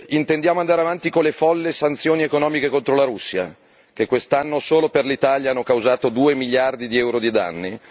Intendiamo andare avanti con le folli sanzioni economiche contro la Russia, che quest'anno solo per l'Italia hanno causato 2 miliardi di euro di danni?